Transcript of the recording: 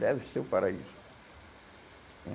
Deve ser o paraíso.